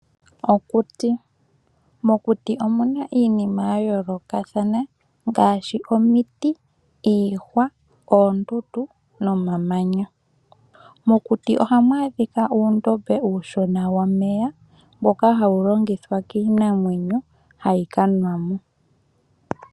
Okuti. Mokuti omuna iinima ya yooloka thana ngaashi omiti, iihwa, oombutu, nomamanya. Mokuti ohamu adhika uundombe uushona wo meya mboka hawu longithwa kiinamwenyo, hayi ka nwamo.